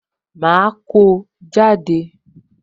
Ma ko jáde